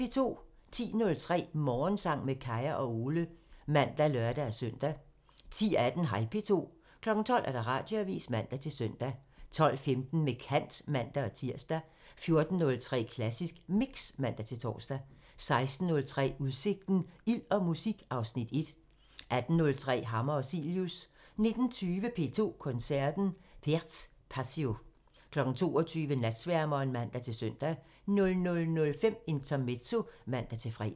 10:03: Morgensang med Kaya og Ole (man og lør-søn) 10:18: Hej P2 12:00: Radioavisen (man-søn) 12:15: Med kant (man-tir) 14:03: Klassisk Mix (man-tor) 16:03: Udsigten – Ild og musik (Afs. 1) 18:03: Hammer og Cilius 19:20: P2 Koncerten – Pärts Passio 22:00: Natsværmeren (man-søn) 00:05: Intermezzo (man-fre)